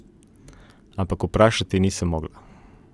Ampak vprašati nisem mogla.